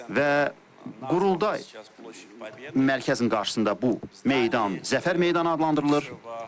Və Qurultay mərkəzinin qarşısında bu meydan Zəfər meydanı adlandırılır.